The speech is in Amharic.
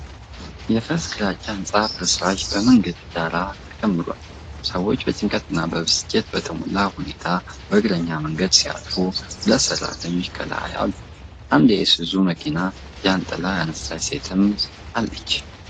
የፈረሰ ግራጫ ሕንፃ ፍርስራሽ በመንገድ ዳር ተከምሯል። ሰዎች በጭንቀት እና በብስጭት በተሞላ ሁኔታ በእግረኛ መንገድ ሲያልፉ፣ ሁለት ሠራተኞች ከላይ አሉ። አንድ የኢሱዙ መኪናና ጃንጥላ ያነሳች ሴትም አለች።